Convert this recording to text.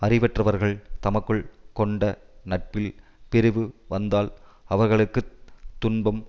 அறிவற்றவர்கள் தமக்குள் கொண்ட நட்பில் பிரிவு வந்தால் அவர்களுக்கு துன்பம்